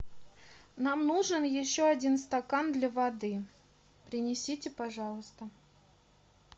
нам нужен еще один стакан для воды принесите пожалуйста